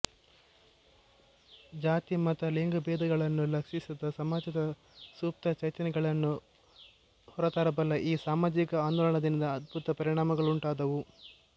ಜಾತಿ ಮತ ಲಿಂಗಭೇದಗಳನ್ನು ಲಕ್ಷಿಸಿದ ಸಮಾಜದ ಸುಪ್ತ ಚೈತನ್ಯಗಳನ್ನು ಹೊರತರಬಲ್ಲ ಈ ಸಾಮಾಜಿಕ ಆಂದೋಳನದಿಂದ ಅದ್ಭುತ ಪರಿಣಾಮಗಳುಂಟಾದುವು